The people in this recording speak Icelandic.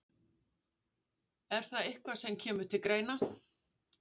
Er það eitthvað sem kemur til greina?